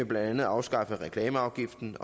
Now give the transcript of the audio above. blandt andet afskaffe reklameafgiften